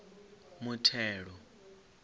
muthelo